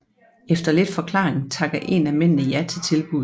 Efter lidt forklaring takker en af mændene ja til tilbuddet